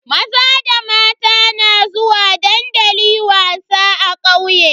Maza da mata na zuwa dandali wasa a kauye.